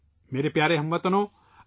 میرے پیارے ہم وطنو ،